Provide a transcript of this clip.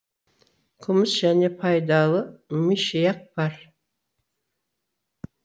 күміс және пайдалы мышьяк бар